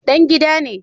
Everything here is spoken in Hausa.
Dan gida ne